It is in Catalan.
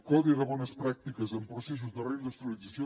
codi de bones pràctiques en processos de reindustrialització